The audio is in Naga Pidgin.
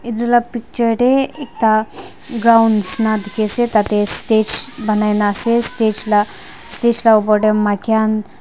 etu lah picture teh ekta ground nisna dikhi ase tah teh stage banai na ase lah stage lah uper teh maiki khan--